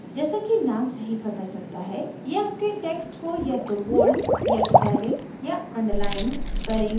जैसा कि names से ही पता चलता है ये आपके text को या तो bold या italic या underlined करेंगे